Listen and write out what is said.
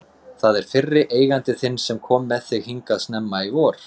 Það er fyrri eigandi þinn sem kom með þig hingað snemma í vor.